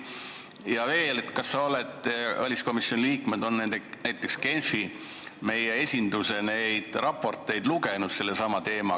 Ja veel: kas väliskomisjoni liikmed on näiteks sellesama teemaga seoses lugenud meie Genfi esinduse raporteid, mis ilusti üleval ripuvad?